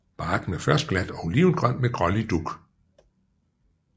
Barken er først glat og olivengrøn med grålig dug